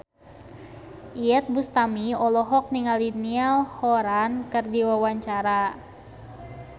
Iyeth Bustami olohok ningali Niall Horran keur diwawancara